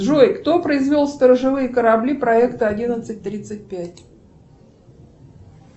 джой кто произвел сторожевые корабли проекта одиннадцать тридцать пять